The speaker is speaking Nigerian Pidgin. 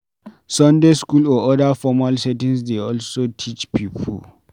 Sunday school or oda formal settings dey also teach pipo